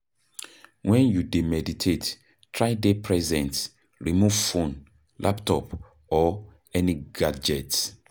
When you dey meditate, try dey present, remove phone, laptop or any gadget